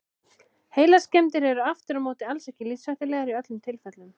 Heilaskemmdir eru aftur á móti alls ekki lífshættulegar í öllum tilfellum.